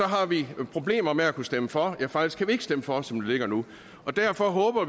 har vi problemer med at kunne stemme for ja faktisk kan vi ikke stemme for som det ligger nu derfor håber